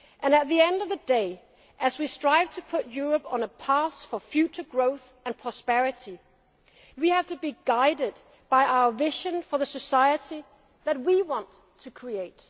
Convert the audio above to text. brick by brick, represents the spirit of our cooperation within the EU. At the end of the day, as we strive to put Europe on a path for future growth and prosperity,